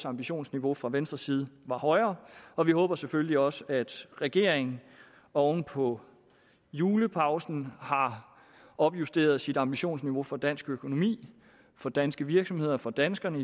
ambitionsniveauet fra venstres side er højere og vi håber selvfølgelig også at regeringen oven på julepausen har opjusteret sit ambitionsniveau for dansk økonomi for danske virksomheder for danskerne